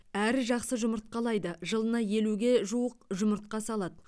әрі жақсы жұмыртқалайды жылына елуге жуық жұмыртқа салады